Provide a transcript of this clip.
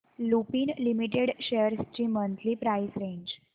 Lupin limited shares ची monthly price range